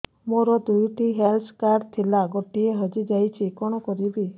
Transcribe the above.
ମୋର ଦୁଇଟି health card ଥିଲା ଗୋଟିଏ ହଜି ଯାଇଛି କଣ କରିବି